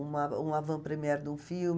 uma um avant-première de um filme.